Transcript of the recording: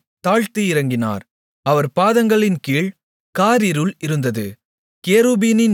வானங்களைத் தாழ்த்தி இறங்கினார் அவர் பாதங்களின்கீழ் காரிருள் இருந்தது